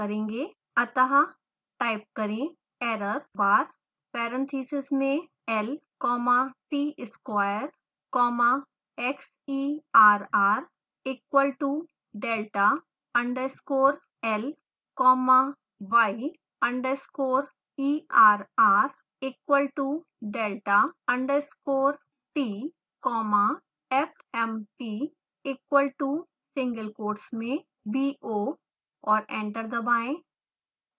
अतः टाइप करें errorbar parentheses में l comma tsquare comma xerr equalto delta underscore l comma y underscore err equalto delta underscore t comma fmt equal to within single quotes bo